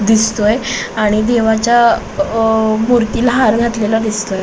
दिसतोय आणि देवाच्या मूर्तीला हार घातलेला दिसतोय.